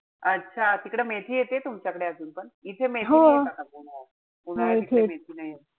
अच्छा. तिकडं मेथी येतीय तुमच्याकडे अजून पण? इथे मेथी उन्हाळ्यात इकडे मेथी नाई येत.